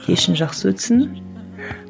кешің жақсы өтсін